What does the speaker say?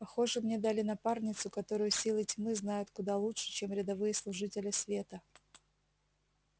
похоже мне дали напарницу которую силы тьмы знают куда лучше чем рядовые служители света